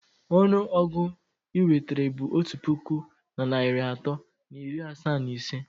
Ọnụ ọgụ inwetara bụ otu puku na narị atọ na iri asaa na ise.